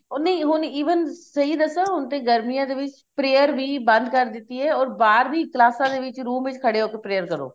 ਉਹ ਨਹੀਂ ਹੁਣ even ਸਹੀ ਹੁਣ ਤੇ ਗਰਮੀਆਂ ਦੇ ਵਿੱਚ prayer ਵੀ ਬੰਦ ਕਰ ਦਿੱਤੀ ਏ or ਬਾਹਰ ਵੀ ਕਾਲਸਾ ਦੇ ਵਿੱਚ room ਵਿੱਚ ਖੜੇ ਹੋ ਕੇ prayer ਕਰੋ